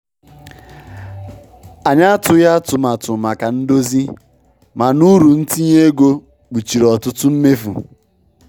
Anyị atụghị atụmatụ maka ndozi, mana uru ntinye ego kpuchiri ọtụtụ mmefu.